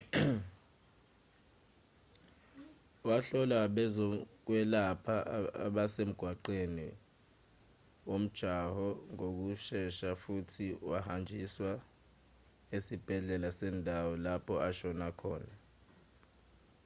wahlolwa abezokwelapha abasemgaqweni womjaho ngokushesha futhi wahanjiswa esibhedlela sendawo lapho ashona khona